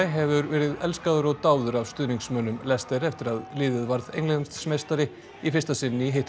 hefur verið elskaður og dáður af stuðningsmönnum Leicester eftir að liðið varð Englandsmeistari í fyrsta sinn